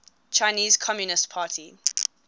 chinese communist party